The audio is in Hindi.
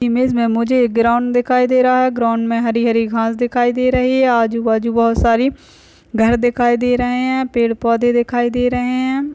इमेज मे मुझे एक ग्राउन्ड दिखाई दे रहा है ग्राउन्ड मे हरी हरी घाँस दिखाई दे रही हैं आजू बाजू बहुत सारी घर दिखाई दे रहे हैं यहाँ पेड़ पौधे दिखाई दे रहे हैं।